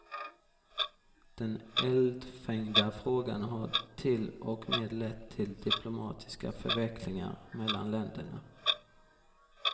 Den eldfängda frågan har till och med lett till diplomatiska förvecklingar mellan länderna.